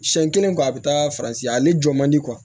Siyɛn kelen kɔ a bɛ taa faransi ale jɔ man di